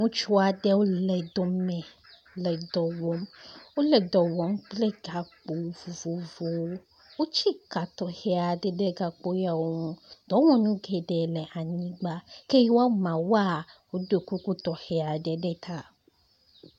ŋutsuaɖewo le dɔme le dɔwɔm wóle dɔwɔm kple gakpo vovovowo wotsi ka tɔxɛaɖe ɖe gakpoyawo ŋu dɔwɔnu geɖe le anyigba ke woamawoa woɖó kuku ɖe ta